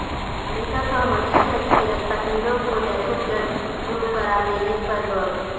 امریکہ کا حوثی عسکریت پسندوں کو دہشت گرد گروپ قرار دینے پر غور